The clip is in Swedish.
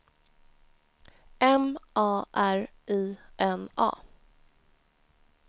M A R I N A